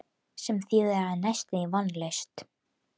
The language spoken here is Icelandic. Sem þýðir að það er næstum því vonlaust.